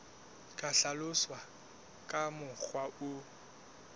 ka hlaloswa ka mokgwa o